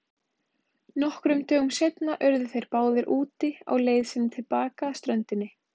Nokkrum dögum seinna urðu þeir báðir úti á leið sinni til baka að ströndinni.